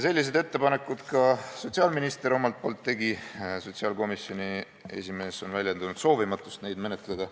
Sellised ettepanekud sotsiaalminister omalt poolt ka tegi, ent sotsiaalkomisjoni esimees on väljendanud soovimatust neid menetleda.